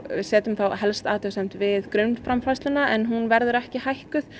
setjum þá helst athugasemd við grunnframfærsluna en hún verður ekki hækkuð